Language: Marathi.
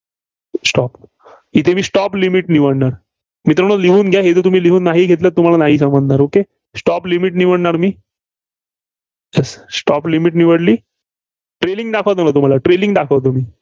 stop इथे जी stop limit निवडणार, मित्रांनो लिहून घ्या, हे जे तुम्ही लिहून नाही घेतलं तर तुम्हाला नाही समजणार okaystop limit निवडणार मी. stop limit निवडली. trailing दाखवतो ना तुम्हाला मी trailing दाखवतो.